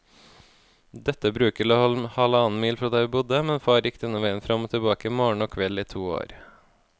Dette bruket lå halvannen mil fra der vi bodde, men far gikk denne veien fram og tilbake morgen og kveld i to år.